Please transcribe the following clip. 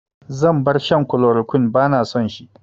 Zan bar shan kulorokwin, ba na son shi